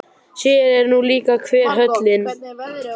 Sér er nú líka hver höllin.